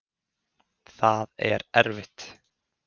Það er erfitt.